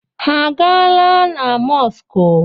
Ha a gaala na mọskụ?